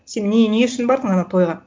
сен не не үшін бардың ана тойға